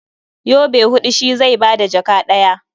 Yobe huɗu shi zai ba da jaka ɗaya.